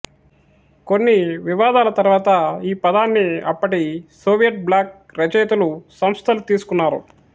కొన్ని వివాదాల తరువాత ఈ పదాన్ని అప్పటి సోవియట్ బ్లాక్ రచయితలు సంస్థలు తీసుకున్నారు